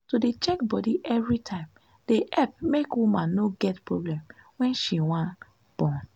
to dey check bodi everytime dey epp make woman no get problem wen she want born.